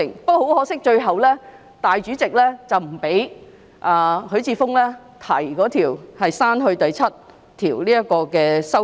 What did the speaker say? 不過，很可惜，最後主席不批准許智峯議員提出刪去第7條的修正案。